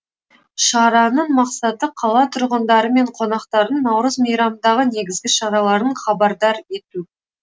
шараның мақсаты қала тұрғындары мен қонақтарын наурыз мейрамындағы негізгі шаралардан хабардар ету